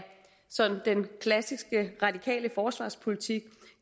den klassiske radikale forsvarspolitik